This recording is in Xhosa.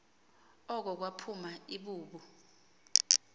oko kwaphuma ibubu